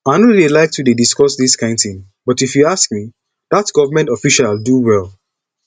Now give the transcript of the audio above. i no dey like to dey discuss dis kin thing but if you ask me dat government official do well